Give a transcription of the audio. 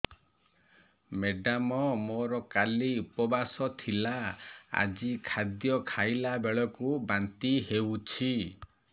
madam ମୋର କାଲି ଉପବାସ ଥିଲା ଆଜି ଖାଦ୍ୟ ଖାଇଲା ବେଳକୁ ବାନ୍ତି ହେଊଛି